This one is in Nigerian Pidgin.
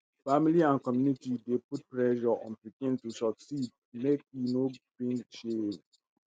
family and community dey put pressure on pikin to succeed make e no bring shame.